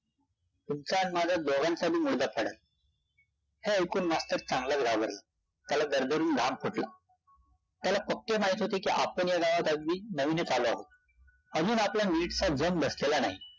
तुमचा नि माझा दोघांचा बी मुडदा पाडेल. हे ऐकून मास्तर चांगलाच घाबरला. त्याला दरदरून घाम फुटला. त्याला पक्के माहित होते कि आपण या गावात अगदी नवीनच आलो आहोत. अजून आपला नीटसा जम बसलेला नाही.